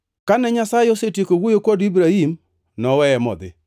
Kane Nyasaye osetieko wuoyo kod Ibrahim, noweye modhi.